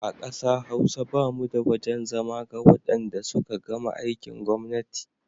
A ƙasa Hausa ba mu da wajen zama ga wadanda suka gama aikin gwamnati.